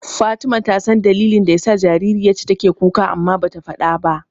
Fatima ta san dalilin da yasa jaririyar take kuka amma bata faɗa ba.